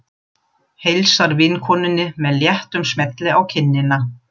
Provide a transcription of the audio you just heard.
Heilsar vinkonunni með léttum smelli á kinnina.